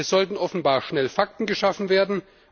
Hier sollten offenbar schnell Fakten geschaffen werden.